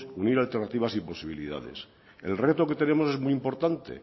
unir alternativas y posibilidades el reto que tenemos es muy importante